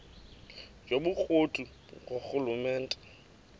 yobukro ti ngurhulumente